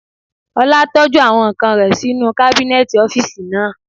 Ọlá tọ́jú àwọn ǹkan rẹ̀ sí inú kábínẹ̀tì ọ́físì naa